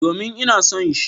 Domin, ina son shi.